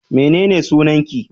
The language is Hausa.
mene ne sunanki?